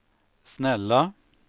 snälla